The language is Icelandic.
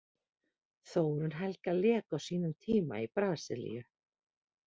Þórunn Helga lék á sínum tíma í Brasilíu.